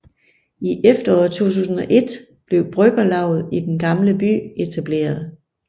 I efteråret 2001 blev Bryggerlavet i Den Gamle By etableret